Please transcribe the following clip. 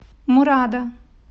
мурада